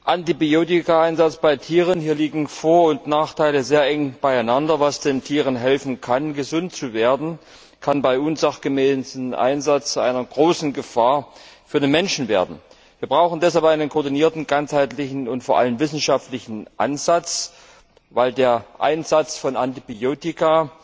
Antibiotikaeinsatz bei Tieren hier liegen Vor und Nachteile sehr eng beieinander. Was den Tieren helfen kann, gesund zu werden, kann bei unsachgemäßem Einsatz zu einer großen Gefahr für den Menschen werden. Wir brauchen deshalb einen koordinierten, ganzheitlichen und vor allem wissenschaftlichen Ansatz, weil der Einsatz von Antibiotika